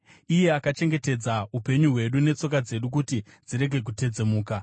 iye akachengetedza upenyu hwedu netsoka dzedu kuti dzirege kutedzemuka.